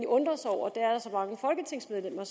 undre sig over er at så mange folketingsmedlemmer